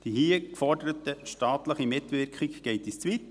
Die hier geforderte staatliche Mitwirkung geht uns zu weit.